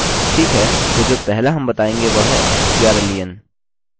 ठीक है तो जो पहला हम बताएँगे वह है strlen